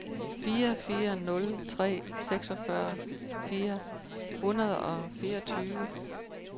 fire fire nul tre seksogfyrre fire hundrede og fireogtyve